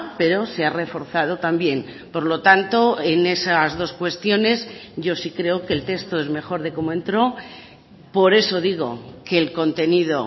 pero se ha reforzado también por lo tanto en esas dos cuestiones yo sí creo que el texto es mejor de como entró por eso digo que el contenido